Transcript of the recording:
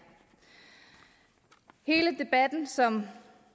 hele debatten som